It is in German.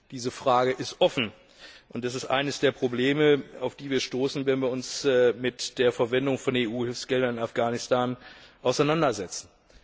Diese Frage ist offen. Es ist eines der Probleme, auf die wir stoßen, wenn wir uns mit der Verwendung von EU Hilfsgeldern in Afghanistan auseinandersetzen.